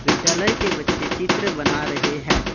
विद्यालय के बच्चे चित्र बना रहे हैं।